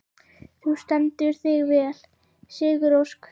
Þú stendur þig vel, Sigurósk!